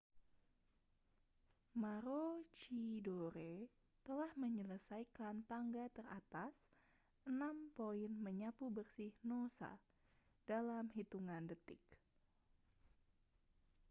maroochydore telah menyelesaikan tangga teratas enam poin menyapu bersih noosa dalam hitungan detik